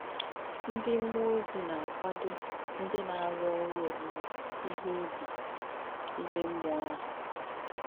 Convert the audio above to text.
Ndí m̀mùò ózì nà-àkwádò ndí nà-àrú òrū òwúwé íhe ùbì íme m̀mùò àhù.